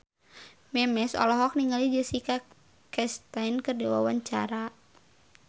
Memes olohok ningali Jessica Chastain keur diwawancara